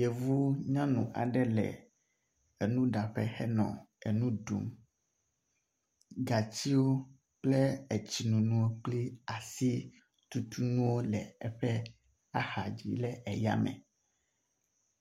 yevu nyanu aɖe le enuɖaƒe henɔ enu ɖum gatsiwo kple etsinonó kpli asitutunuwo le axadzi le eyame